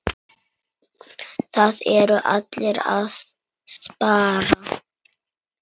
Það eru allir að spara.